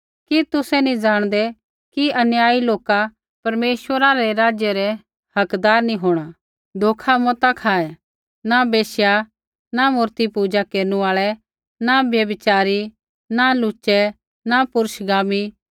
कि तुसै नी जाणदै कि अन्यायी लोका परमेश्वरा रै राज्या रै हकदार नैंई होंणा धोखा मता खाऐ न वेश्या न मूर्तिपूजा केरनु आल़ै न व्यभिचारी न लुचै पुरुषगामी